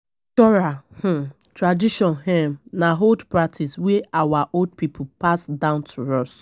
Cultural um traditions um na old practices wey our old pipo pass down to us